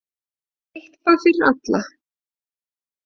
Eitthvað fyrir alla!